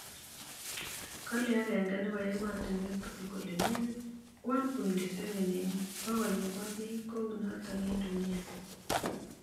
Kale egenge enebo ematinuek tugul kole negit 1.7 eng bokolnebo bik kounotok eng dunia.